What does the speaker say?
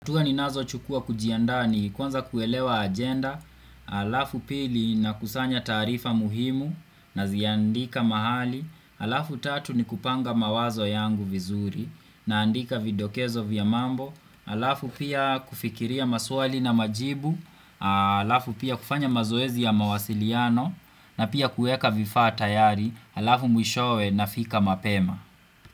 Hatua ninazochukua kujiandaa ni kwanza kuelewa agenda, alafu pili nakusanya taarifa muhimu naziandika mahali, halafu tatu ni kupanga mawazo yangu vizuri, naandika vidokezo vya mambo halafu pia kufikiria maswali na majibu, alafu pia kufanya mazoezi ya mawasiliano na pia kuweka vifaa tayari halafu mwishowe nafika mapema.